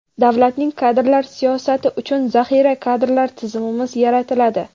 davlatning kadrlar siyosati uchun zaxira kadrlar tizimimiz yaratiladi.